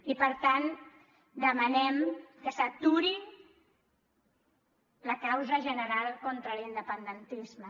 i per tant demanem que s’aturi la causa general contra l’independentisme